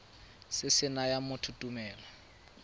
se se nayang motho tumelelo